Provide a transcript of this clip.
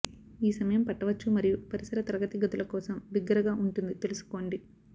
ఈ సమయం పట్టవచ్చు మరియు పరిసర తరగతి గదులు కోసం బిగ్గరగా ఉంటుంది తెలుసుకోండి